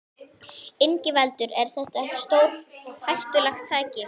Ingveldur: Er þetta ekki stórhættulegt tæki?